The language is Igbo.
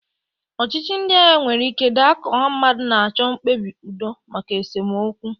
Ọchịchị ndị agha nwere ike daa ka ọha mmadụ na-achọ mkpebi udo maka esemokwu.